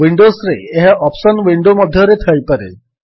ୱିଣ୍ଡୋସ୍ରେ ଏହା option window ମଧ୍ୟରେ ଥାଇପାରେ